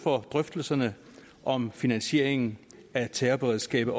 for drøftelserne om finansiering af terrorberedskabet